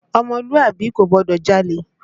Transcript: Ọmọlúàbí kò gbọdọ̀ jalè!